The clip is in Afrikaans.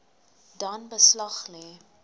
dan beslag lê